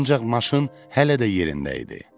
Ancaq maşın hələ də yerində idi.